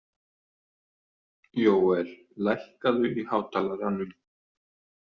Jóel, lækkaðu í hátalaranum.